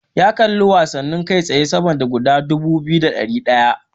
Ya kalli watsani kai tsaye sama da guda dubu biyu da ɗari ɗaya.